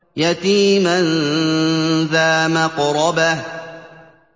يَتِيمًا ذَا مَقْرَبَةٍ